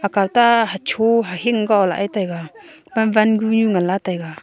aka ta chu hing ko le taiga pam wan kunue ngan la taiga.